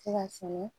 Se ka sɛnɛ